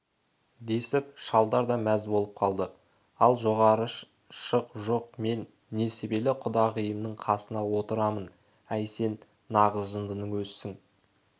десіп шалдар да мәз болып қалды ал жоғары шық жоқ мен несібелі құдағиымның қасына отырамын әй сең нағыз жындының өзісің